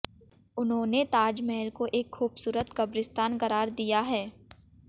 उन्होंने ताजमहल को एक खूबसूरत कब्रिस्तान करार दिया है